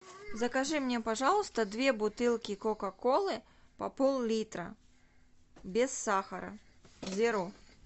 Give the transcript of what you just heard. закажи мне пожалуйста две бутылки кока колы по пол литра без сахара зеро